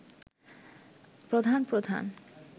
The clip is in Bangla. প্রধান প্রধান